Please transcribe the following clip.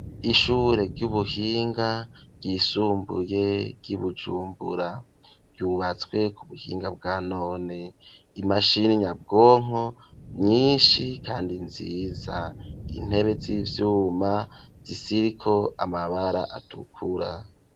Ishure ry'ubuhinga ryisumbuye ryi Bujumbura, ryubatswe ku buhinga bwa none imashini nyabwonko nyishi kandi nziza intebe z'ivyuma ziriko amabara atukura.